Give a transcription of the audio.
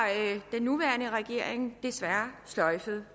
den nuværende regering desværre sløjfet det